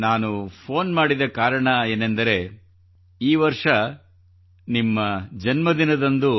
ನಾನು ಫೋನ್ ಮಾಡಿದ ಕಾರಣ ಏನೆಂದರೆ ಈ ವರ್ಷ ನಿಮ್ಮ ಜನ್ಮದಿನದಂದು